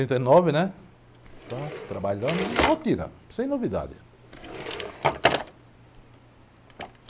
e nove, né? Então, fui trabalhando, rotina, sem novidade.